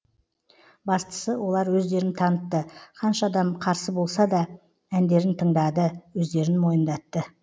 бастысы олар өздерін танытты қанша адам қарсы болсада әндерін тыңдады өздерін мойындатты